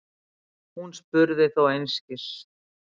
Hún spurði þó einskis.